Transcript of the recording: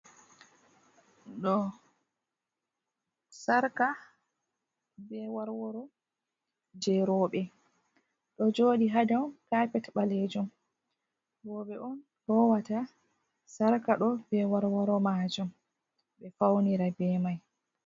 Ɗo sarka be warworo je rowɓe ɗo joɗi ha dow kapet ɓalejum rowɓe on lowata sarka ɗo be warworo majum ɓe faunira be mai.